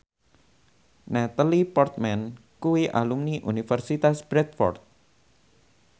Natalie Portman kuwi alumni Universitas Bradford